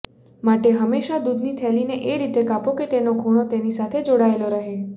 માટે હંમેશા દુધની થેલીને એ રીતે કાપો કે તેનો ખૂણો તેની સાથે જોડાયેલો રહે